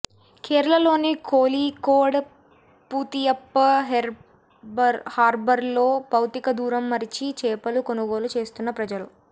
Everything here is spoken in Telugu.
కేరళలోని కోళికోడ్ పుతియప్ప హార్బర్లో భౌతిక దూరం మరచి చేపలు కొనుగోలు చేస్తున్న ప్రజలు